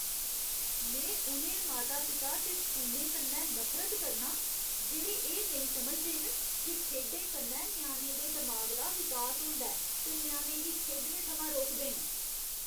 में उ'नें माता पिता ते स्कूलें कन्नै नफरत करनां जेह्ड़े एह् नेईं समझदे न जे खेढें कन्नै ञ्याणे दे दमाग दा विकास होंदा ऐ ते ञ्याणें गी खेढने थमां रोकदे न।